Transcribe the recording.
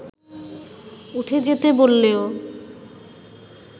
উঠে যেতে বললেও